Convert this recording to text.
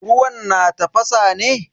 Ruwan na tafasa ne?